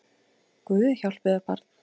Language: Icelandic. Guð hjálpi þér barn!